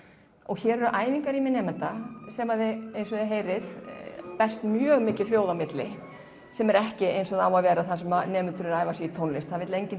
hér eru æfingarými nemenda sem eins og þið heyrið berst mjög mikið hljóð á milli sem er ekki eins og það á að vera þar sem nemendur eru að æfa sig í tónlist það vill enginn